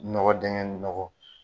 Nɔgɔ dɛngɛ nɔgɔ